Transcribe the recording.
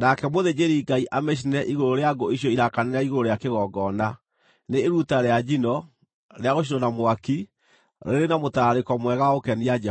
nake mũthĩnjĩri-Ngai amĩcinĩre igũrũ rĩa ngũ icio irakanĩra igũrũ rĩa kĩgongona. Nĩ iruta rĩa njino, rĩa gũcinwo na mwaki, rĩrĩ na mũtararĩko mwega wa gũkenia Jehova.